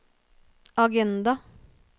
agenda